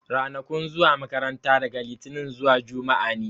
Ranakun zuwa makaranta daga litinin zuwa juma'a ne.